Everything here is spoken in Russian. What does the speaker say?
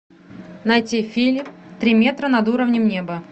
найти фильм три метра над уровнем неба